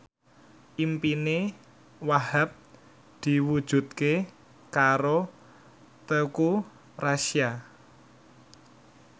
impine Wahhab diwujudke karo Teuku Rassya